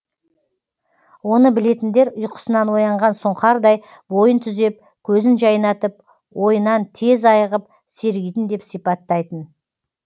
оны білетіндер ұйқысынан оянған сұңқардай бойын түзеп көзін жайнатып ойынан тез айығып сергитін деп сипаттайтын